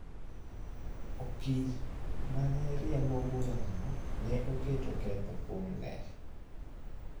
Okil ma ne riembo bura no ne oketo ketho kuom Lee.